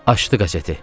Açdı qəzeti.